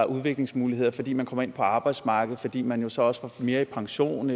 udviklingsmuligheder fordi man kommer ind på arbejdsmarkedet fordi man jo så også får mere i pension